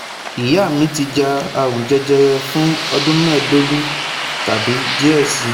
Iya mi ti ja arun jejere fun ọdun mẹdogun tabi diẹ sii